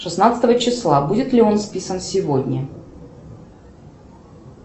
шестнадцатого числа будет ли он списан сегодня